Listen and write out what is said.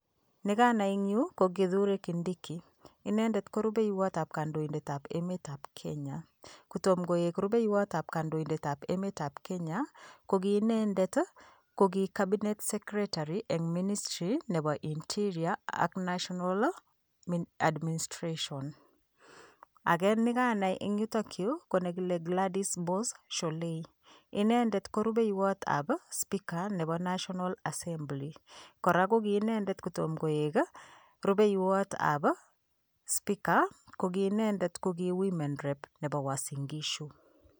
Nikanai eng yu, ko Kithure Kindiki. Inendet ko rubeiwotap kandoindetap emetap Kenya. Kotom koek rubeiwotap kandoindetap emetap Kenya ko ki inendet, ko ki cabinet secretary eng [csministry nepo interior ak national administration. Ake nekanai eng yutokyu, ko nekile Gladys Boss Sholei. Inendet ko rubeiwotap speaker nepo national assembly. Kora ko ki inendet kotom koek rubeiwotap speaker, ko ki inendet ko ki women representative nepo Uasin Gishu.